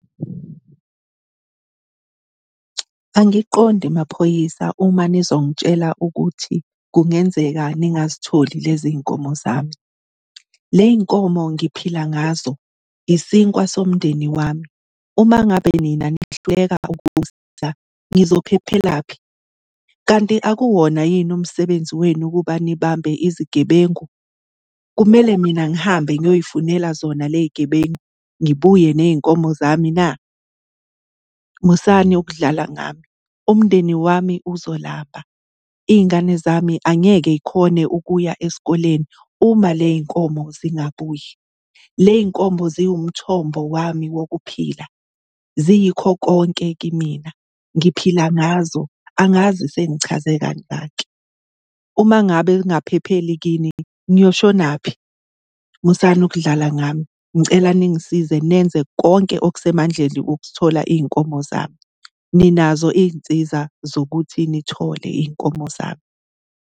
Angiqondi maphoyisa uma nizongitshela ukuthi kungenzeka ningazitholi lezi y'nkomo zami. Ley' nkomo ngiphila ngazo, isinkwa somndeni wami, uma ngabe nina nihluleka ukungisiza ngizophephelaphi? Kanti akuwona yini umsebenzi wenu ukuba nibambe izigebengu? Kumele mina ngihambe ngiyoy'funela zona ley' gebengu, ngibuye ney'nkomo zami na? Musani ukudlala ngami. Umndeni wami uzolamba, iy'ngane zami angeke y'khone ukuya esikoleni uma ley' nkomo zingabuyi. Ley' nkomo ziwumthombo wami wokuphila, ziyikho konke kimina, ngiphila ngazo, angazi sengichaze kangaki. Uma ngabe ngingaphepheli kini, ngiyoshonaphi? Musani ukudlala ngami, ngicela ningisize nenze konke okusemandleni ukuthola iy'nkomo zami. Ninazo iy'nsiza zokuthi nithole iy'nkomo zami.